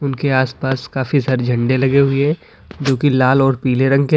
उनके आसपास काफी सारे झंडे लगे हुए हैं जो की लाल और पीले रंग के हैं।